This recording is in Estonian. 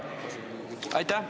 Aitäh!